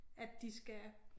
At de skal